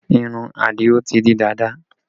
Irun Adio ti di dàda